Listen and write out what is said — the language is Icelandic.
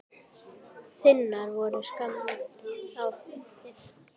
Finnar voru skammt á eftir.